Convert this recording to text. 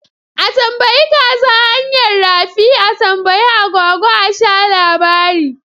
A tambayi kaza hanyar rafi? A tambayi agwagwa a sha labari